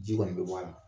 Ji kɔni bɛ bɔ a la